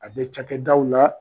A bɛ cakɛdaw la.